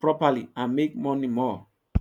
properly and make more money